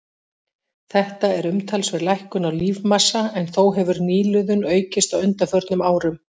Þetta er umtalsverð lækkun á lífmassa en þó hefur nýliðun aukist á undanförnum árum.